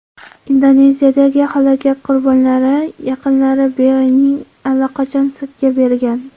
Indoneziyadagi halokat qurbonlari yaqinlari Boeing‘ni allaqachon sudga bergan.